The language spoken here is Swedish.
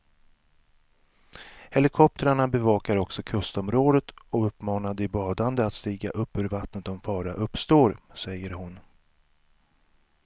Helikoptrarna bevakar också kustområdet och uppmanar de badande att stiga upp ur vattnet om fara uppstår, säger hon.